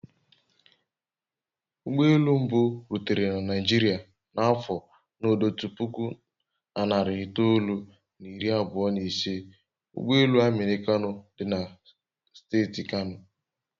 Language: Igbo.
Ụgbọ elu mbụ rutere na Naijiria n'afọ n'ọdotu puku na narị itoolu na iri abụọ na ise ụ ụgbọ elu aminu kano dị na steeti kano